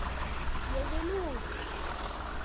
Ég vil út!